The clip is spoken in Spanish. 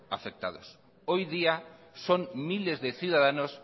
afectados hoy día son miles de ciudadanos